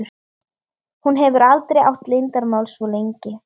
Hún hefur aldrei átt leyndarmál svo lengi.